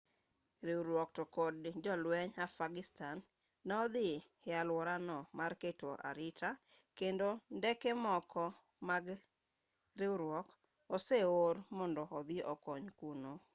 riwruog to kod jolwenj afghanistan ne odhi e alworano mar keto arita kendo ndeke moko mag riwruok oseor mondo odhi okony kuno